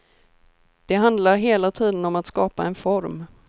Det handlar hela tiden om att skapa en form.